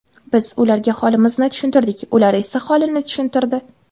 Biz ularga holimizni tushuntirdik, ular o‘z holini tushuntirdi.